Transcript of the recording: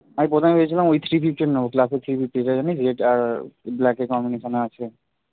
আমি প্রথমে ভেবেছিলাম ওই three fifty টা নেব classic three fifty টা জানিস যেটার black combination এ আছে